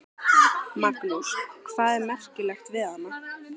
Magnús: Hvað er merkilegt við hana?